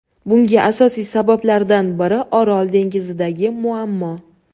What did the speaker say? Bunga asosiy sabablardan biri Orol dengizidagi muammo.